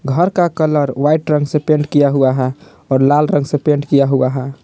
घर का colour white रंग से पेंट किया हुआ है और लाल रंग से पेंट किया हुआ है।